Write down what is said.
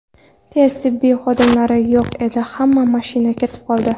Tez tibbiy xodimlari yo‘q edi, hamma mashina ketib qoldi.